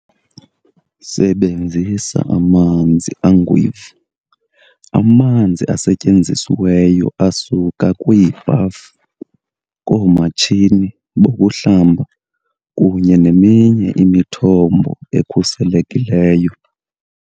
Sebenzisa "amanzi angwevu"-amanzi asetyenzisiweyo asuka kwiibhafu, koomatshini bokuhlamba kunye neminye imithombo ekhuselekileyo.